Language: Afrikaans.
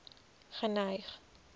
geneig